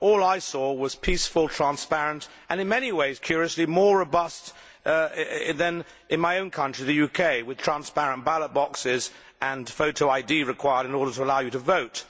Everything I saw was peaceful, transparent and in many ways, curiously more robust than in my own country, the UK, with transparent ballot boxes and photo ID required in order to allow you to vote.